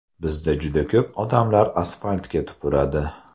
Bizda juda ko‘p odamlar asfaltga tupuradi.